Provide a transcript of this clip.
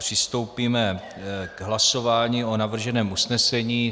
Přistoupíme k hlasování o navrženém usnesení.